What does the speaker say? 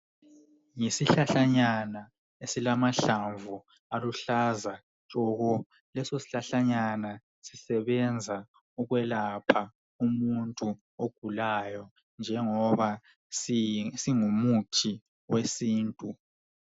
Isihlahlanyana esilamahlamvu aluhlaza tshoko. Leso sihlahlanyana sisebenza ukwelapha umuntu ogulayo njengoba singumuthi wesintu